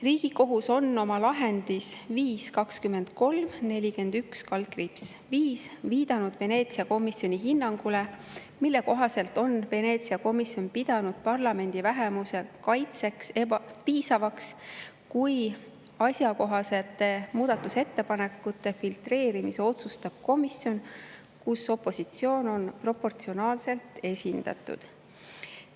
Riigikohus on oma lahendis 5-23-41/5 viidanud Veneetsia komisjoni hinnangule, mille kohaselt on Veneetsia komisjon pidanud parlamendi vähemuse kaitseks piisavaks, kui asjakohaste muudatusettepanekute filtreerimise otsustab komisjon, kus opositsioon on proportsionaalselt esindatud.